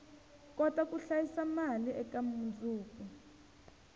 kota ku hlayisa mali eka mundzuku